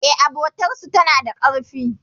E, abotar su tana da karfi.